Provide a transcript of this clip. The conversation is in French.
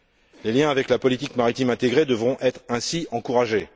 Les liens avec la politique maritime intégrée devront être ainsi encouragés.